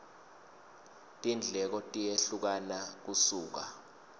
tindleko tiyehlukana kusuka